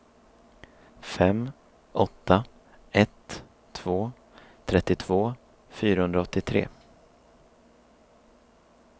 fem åtta ett två trettiotvå fyrahundraåttiotre